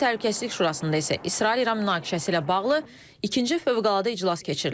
BMT Təhlükəsizlik Şurasında isə İsrail-İran münaqişəsi ilə bağlı ikinci fövqəladə iclas keçirilib.